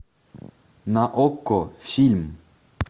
на окко фильм